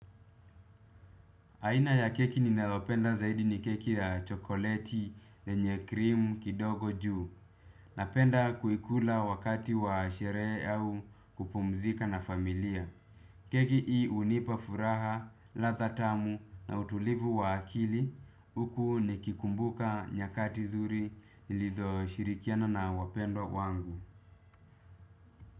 Aina ya keki ninayopenda zaidi ni keki ya chokoleti, yenye krimu, kidogo juu. Napenda kuikula wakati wa sherehe au kupumzika na familia. Keki hii unipa furaha, ladha tamu na utulivu wa akili. Huku nikikumbuka nyakati nzuri nilizoshirikiana na wapendwa wangu.